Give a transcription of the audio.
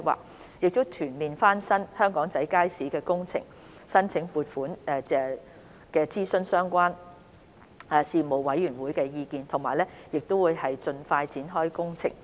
我們將會就全面翻新香港仔街市的工程申請撥款，並諮詢相關事務委員會的意見，期望盡快展開工程。